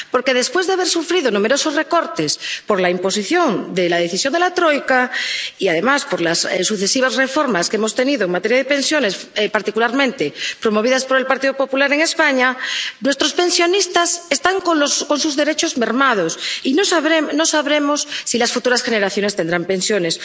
Porque, después de haber sufrido numerosos recortes por la imposición de la decisión de la troika y, además, por las sucesivas reformas que hemos tenido en materia de pensiones —particularmente promovidas por el Partido Popular en España—, nuestros pensionistas están con sus derechos mermados y no sabemos si las futuras generaciones tendrán pensiones.